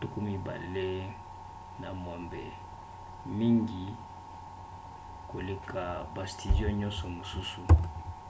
26 — mingi koleka ba studio nyonso mosusu